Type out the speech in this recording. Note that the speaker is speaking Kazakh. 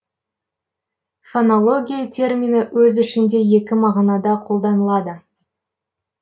фонология термині өз ішінде екі мағынада қолданылады